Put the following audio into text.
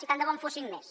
i tant de bo en fossin més